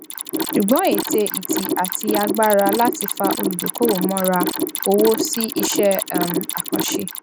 ṣùgbón ète ìtì àti agbára láti fa olùdókòwò mọra owó sí iṣẹ um àkànṣe